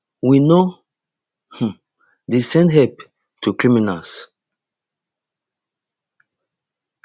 we no um dey send help to criminals